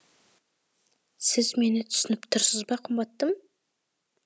сіз мені түсініп тұрсыз ба қымбаттым